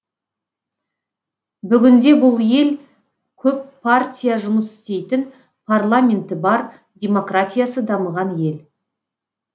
бүгінде бұл ел көп партия жұмыс істейтін парламенті бар демократиясы дамыған ел